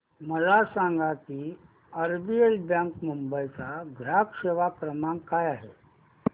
मला सांगा की आरबीएल बँक मुंबई चा ग्राहक सेवा क्रमांक काय आहे